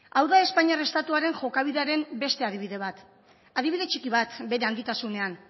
hau da espainiar estatuaren jokabidearen beste adibide bat beste adibide bat adibide txiki bat bere handitasunean